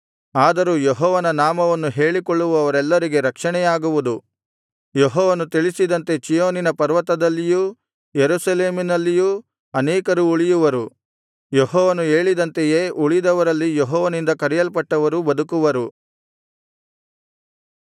ಆದರೂ ಯೆಹೋವನ ನಾಮವನ್ನು ಹೇಳಿಕೊಳ್ಳುವವರೆಲ್ಲರಿಗೆ ರಕ್ಷಣೆಯಾಗುವುದು ಯೆಹೋವನು ತಿಳಿಸಿದಂತೆ ಚೀಯೋನಿನ ಪರ್ವತದಲ್ಲಿಯೂ ಯೆರೂಸಲೇಮಿನಲ್ಲಿಯೂ ಅನೇಕರು ಉಳಿಯುವರು ಯೆಹೋವನು ಹೇಳಿದಂತೆಯೇ ಉಳಿದವರಲ್ಲಿ ಯೆಹೋವನಿಂದ ಕರೆಯಲ್ಪಟ್ಟವರು ಬದುಕುವರು